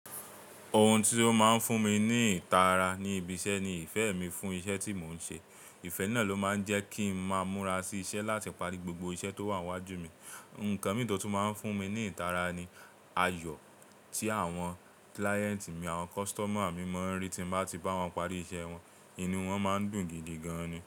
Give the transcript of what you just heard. Ohun ti o máa ń fún mi ní ìtara ní ibi iṣẹ́ ni ìfẹ́ mi fún iṣẹ́ tí mò ń ṣe. Ìfẹ́ náà ló máa ń jẹ́ kí ń máa múra sí iṣẹ́ láti parí gbogbo iṣẹ́ tó wà níwájú mi. Ǹkan mì tó tún máa ń fún mi ní ìtara ni ayọ̀ tí àwọn client mi, àwọn customer mi máa ń rí tí mo bá ti bá wọn parí iṣẹ́ wọn, inú wọn máa ń dùn gidi gan ni.